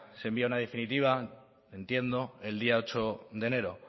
se envía una definitiva entiendo el día ocho de enero